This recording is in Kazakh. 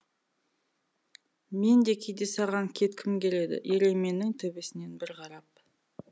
мен де кейде саған кеткім келеді ерейменнің төбесінен бір қарап